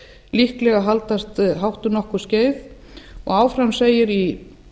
líklega haldast hátt um nokkurt skeið áfram segir í